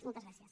moltes gràcies